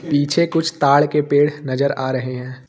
पीछे कुछ ताड़ के पेड़ नजर आ रहे हैं।